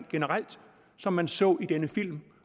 generelt som man så i denne film